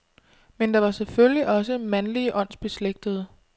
Men der var selvfølgelig også mandlige åndsbeslægtede.